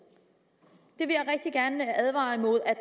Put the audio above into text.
jeg vil rigtig gerne advare imod at